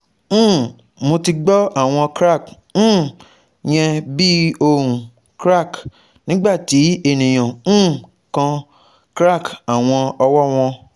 um Mo ti gbọ awọn crack um yen bi ohun crack nigbati eniyan um kan crack awọn ọwọ wọn